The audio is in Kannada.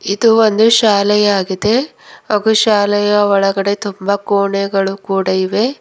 ಇದು ಒಂದು ಶಾಲೆ ಆಗಿದೆ ಹಾಗೂ ಶಾಲೆಯ ಒಳಗಡೆ ತುಂಬ ಕೋಣೆಗಳು ಕೂಡ ಇವೆ.